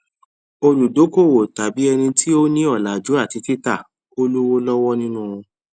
olùdókòwòtàbí ẹni tí o ní ọlàjú àti títà ó lówó lọwọ nínú wọn